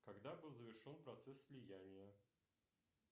когда был завершен процесс слияния